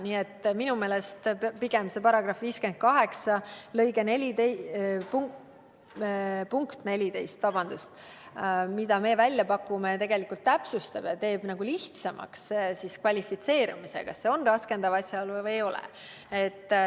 Nii et minu meelest aitab § 58 punkt 14, mida meie välja pakume, olukorda pigem täpsustada ja teeb lihtsamaks kvalifitseerimise, kas tegemist on raskendava asjaoluga või ei ole.